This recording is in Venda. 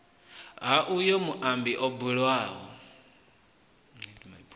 ha uyo muambi o bulwaho